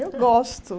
Eu gosto.